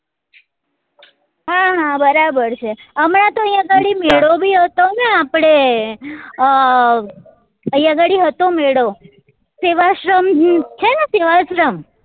હા હા બરાબર છે હમણા તો અહિયાં ઘડી મેળો બી હતો ને આપડે અ અહિયાં ઘડી હતો મેળો સેવાશ્રમ છે ને સેવાશ્રમ